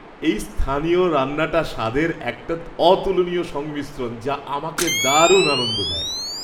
এই স্থানীয় রান্নাটা স্বাদের একটা অতুলনীয় সংমিশ্রণ যা আমাকে দারুণ আনন্দ দেয়।